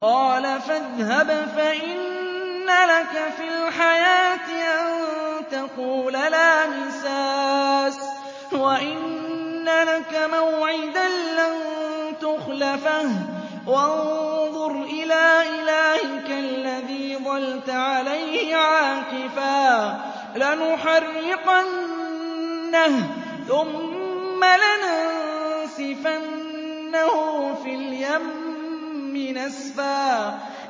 قَالَ فَاذْهَبْ فَإِنَّ لَكَ فِي الْحَيَاةِ أَن تَقُولَ لَا مِسَاسَ ۖ وَإِنَّ لَكَ مَوْعِدًا لَّن تُخْلَفَهُ ۖ وَانظُرْ إِلَىٰ إِلَٰهِكَ الَّذِي ظَلْتَ عَلَيْهِ عَاكِفًا ۖ لَّنُحَرِّقَنَّهُ ثُمَّ لَنَنسِفَنَّهُ فِي الْيَمِّ نَسْفًا